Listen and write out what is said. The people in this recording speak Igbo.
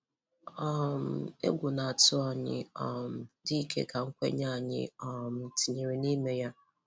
um Égwù ná-átụ́ ányị́ um dị íké kà nkwenye ányị́ um tìnyèrè n'ime yá.